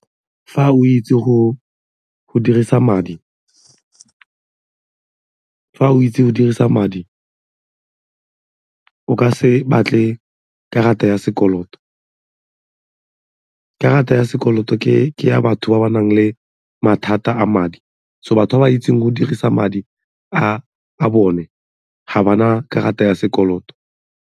Fa o itse go dirisa madi o ka se batle karata ya sekoloto, karata ya sekoloto ke ya batho ba ba nang le mathata a madi so batho ba ba itseng go dirisa madi a bone ga ba na karata ya sekoloto.